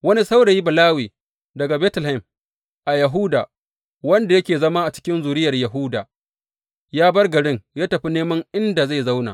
Wani saurayi Balawe daga Betlehem a Yahuda, wanda yake zama cikin zuriyar Yahuda, ya bar garin ya tafi neman inda zai zauna.